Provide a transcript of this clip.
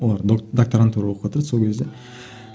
олар докторантура оқыватыр еді сол кезде